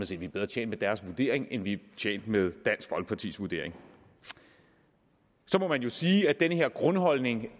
set er bedre tjent med deres vurdering end vi er tjent med dansk folkepartis vurdering så må man jo sige at den her grundholdning